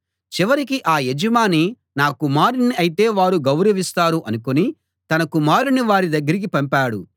చివరికి ఆ యజమాని నా కుమారుణ్ణి అయితే వారు గౌరవిస్తారు అనుకుని తన కుమారుణ్ణి వారి దగ్గరికి పంపాడు